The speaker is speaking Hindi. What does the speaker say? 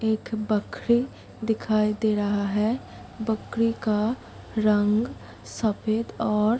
एक बकरी दिखाई दे रहा है बकरी का रंग सफ़ेद और --